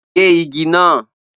Gé igi náà.